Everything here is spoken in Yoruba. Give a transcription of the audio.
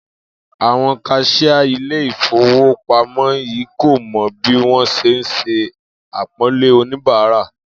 Àwo̩n kas̩iá ilé ìfowópamó̩ yii kò mo̩ bí wó̩n s̩e ń s̩e àpó̩nlé oníbàárà